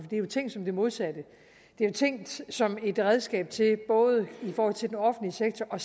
det er jo tænkt som det modsatte det er jo tænkt som et redskab til både i forhold til den offentlige sektor og